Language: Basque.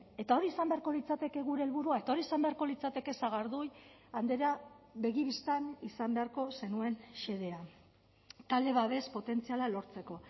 eta hori izan beharko litzateke gure helburua eta hori izan beharko litzateke sagardui andrea begi bistan izan beharko zenuen xedea talde babes potentziala lortzeko